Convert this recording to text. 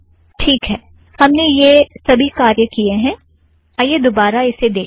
ठीक है - हमने यह सबी कार्य किए हैं - आइए दोबारा इसे देखें